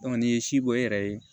n'i ye si bɔ e yɛrɛ ye